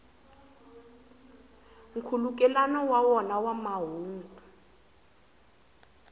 nkhulukelano wa wona wa mahungu